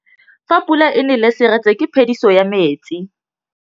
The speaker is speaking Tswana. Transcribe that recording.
Fa pula e nelê serêtsê ke phêdisô ya metsi.